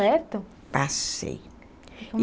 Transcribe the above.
Passei.